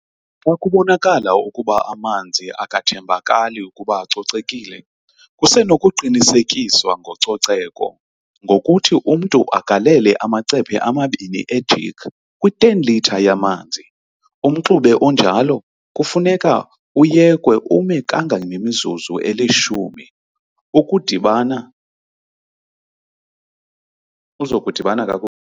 Xa kubonakala ukuba amanzi akathembakali ukuba acocekile, kusenokuqinisekiswa ngococeko, ngokuthi umntu agalele amacephe amabini ejik kwi 10 litre yamanzi, umxube onjalo kufuneka uyekwe ume kanga ngemizuzu elishumi uzokudibana kakuhle.